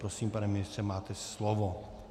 Prosím, pane ministře, máte slovo.